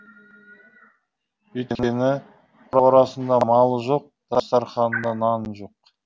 өйткені қорасында малы жоқ дастарханында наны жоқ